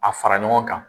A fara ɲɔgɔn kan